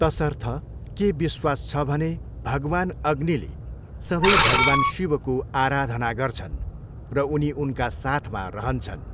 तसर्थ, के विश्वास छ भने भगवान् अग्निले सधैँ भगवान शिवको आराधना गर्छन् र उनी उनका साथमा रहन्छन्।